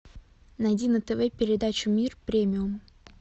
найди на тв передачу мир премиум